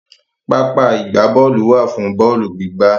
Pápá ìgbábọ́ọ̀lù wà fún bọ́ọ̀lù gbígbá.